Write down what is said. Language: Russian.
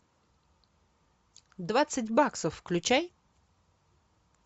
двадцать баксов включай